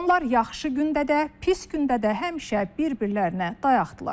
Onlar yaxşı gündə də, pis gündə də həmişə bir-birlərinə dayaqdırlar.